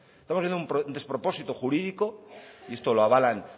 estamos viendo un despropósito jurídico y esto lo avalan